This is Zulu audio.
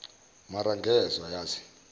maar ngezwa yazi